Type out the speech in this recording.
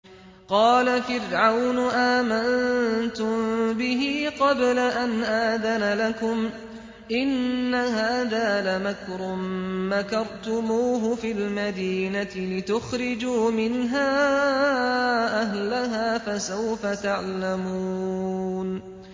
قَالَ فِرْعَوْنُ آمَنتُم بِهِ قَبْلَ أَنْ آذَنَ لَكُمْ ۖ إِنَّ هَٰذَا لَمَكْرٌ مَّكَرْتُمُوهُ فِي الْمَدِينَةِ لِتُخْرِجُوا مِنْهَا أَهْلَهَا ۖ فَسَوْفَ تَعْلَمُونَ